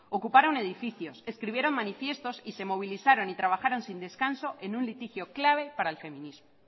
ocuparon edificios escribieron manifiestos y se movilizaron y trabajaron sin descanso en un litigio clave para el feminismo